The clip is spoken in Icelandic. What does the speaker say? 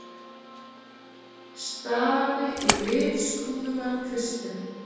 Stari í litskrúðugan kvistinn.